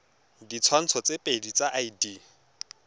ditshwantsho tse pedi tsa id